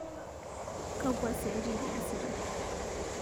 Kakua siatin iyasita